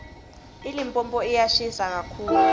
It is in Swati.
ilipompo yiyashisa kakitulu